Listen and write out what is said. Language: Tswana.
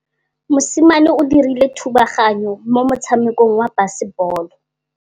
Mosimane o dirile thubaganyô mo motshamekong wa basebôlô.